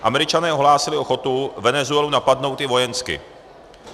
Američané ohlásili ochotu Venezuelu napadnout i vojensky.